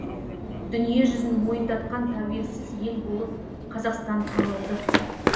дүниежүзін мойындатқан тәуелсіз ел болып қазақстан танылды